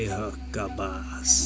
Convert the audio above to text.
Ay haqqabaz!